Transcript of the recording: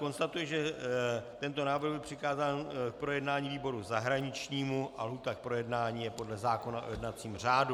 Konstatuji, že tento návrh byl přikázán k projednání výboru zahraničnímu a lhůta k projednání je podle zákona o jednacím řádu.